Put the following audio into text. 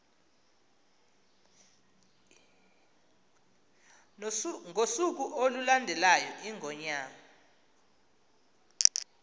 ngosuku olulandelayo iingonyama